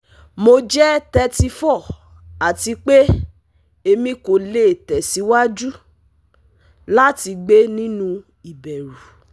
Mo jẹ thirty four ati pe Emi ko le tẹsiwaju lati gbe ninu iberu